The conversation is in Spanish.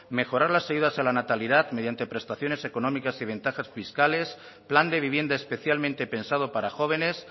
mejorar las ayudas a la natalidad mediante prestaciones económicas y ventajas fiscales plan de vivienda especialmente pensado para jóvenes